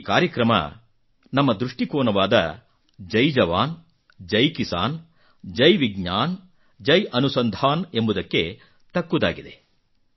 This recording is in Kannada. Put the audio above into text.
ಈ ಕಾರ್ಯಕ್ರಮ ನಮ್ಮ ದೃಷ್ಟಿಕೋನವಾದ ಜೈ ಜವಾನ್ ಜೈ ಕಿಸಾನ್ ಜೈ ವಿಜ್ಞಾನ್ ಜೈ ಅನುಸಂಧಾನ್ ಎಂಬುದಕ್ಕೆ ತಕ್ಕುದಾಗಿದೆ